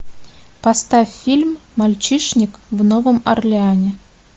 поставь фильм мальчишник в новом орлеане